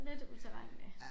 Lidt utilregnelig